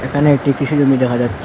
এখানে একটি কৃষি জমি দেখা যাচ্ছে।